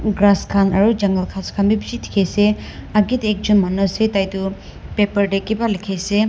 grass kan aro jungle kas kan b bishi diki ase ageh te ekjun manu ase tai tu paper de kiba liki ase.